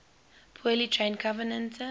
poorly trained covenanter